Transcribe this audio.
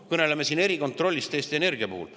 Me kõneleme siin erikontrollist Eesti Energia puhul.